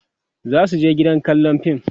zasu je gidan kallan fim